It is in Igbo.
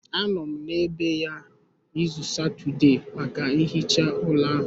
Anọ m n'ebe ya izu Satọde maka nhicha ụlọ ahụ